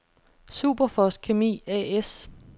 Superfos Kemi A/S